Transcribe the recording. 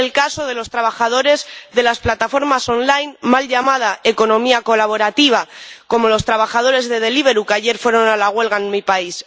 Es el caso de los trabajadores de las plataformas online —mal llamada economía colaborativa— como los trabajadores de Deliveroo, que ayer fueron a la huelga en mi país.